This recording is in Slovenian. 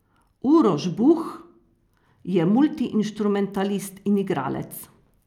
Uroš Buh je multiinštrumentalist in igralec.